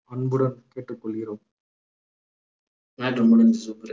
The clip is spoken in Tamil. அன்புடன் கேட்டுக்கொள்கிறோம் matter உ முடிஞ்சுச்சு